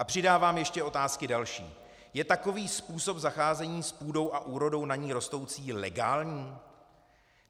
A přidávám ještě otázky další: Je takový způsob zacházení s půdou a úrodou na ní rostoucí legální?